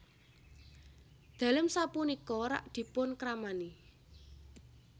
Dalem sapunika rak dipun kramani